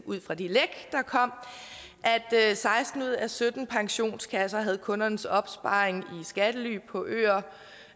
ud fra de læk der kom at seksten ud af sytten pensionskasser havde kundernes opsparing i skattely på øer